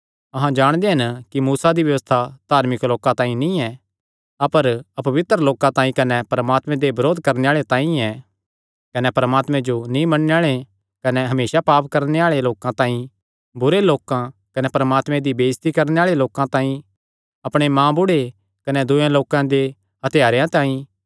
अहां जाणदे हन कि मूसा दी व्यबस्था धार्मिक लोकां तांई नीं ऐ अपर अपवित्र लोकां तांई कने परमात्मे दे बरोध करणे आल़े तांई ऐ कने परमात्मे जो नीं मन्नणे आल़े कने हमेसा पाप करणे आल़े लोकां तांई बुरे लोकां कने परमात्मे दी बेइज्जती करणे आल़े लोकां तांई अपणे माँबुढ़े कने दूये लोकां दे हत्यारेयां तांई ऐ